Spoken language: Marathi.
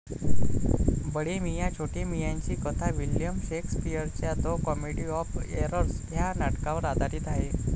बडे मियां छोटे मियांची कथा विल्यम शेक्सपिअरच्या द कॉमेडी ऑफ एरर्स ह्या नाटकावर आधारित आहे.